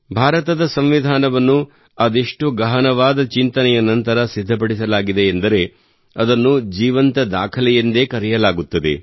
ಭಾರತದ ಸಂವಿಧಾನವನ್ನು ಅದೆಷ್ಟು ಗಹನವಾದ ಚಿಂತನೆಯ ನಂತರ ಸಿದ್ಧಪಡಿಸಲಾಗಿದೆ ಎಂದರೆ ಅದನ್ನು ಜೀವಂತ ದಾಖಲೆ ಎಂದು ಕರೆಯಲಾಗುತ್ತದೆ